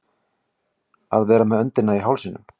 Að vera með öndina í hálsinum